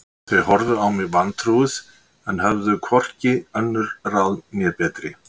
Þau horfðu á mig vantrúuð en höfðu hvorki önnur ráð né betri